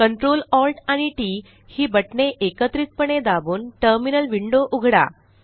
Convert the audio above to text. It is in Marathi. Ctrl Alt आणि टीटी ही बटणे एकत्रितपणे दाबून टर्मिनल विंडो उघडा